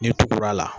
N'i tugura a la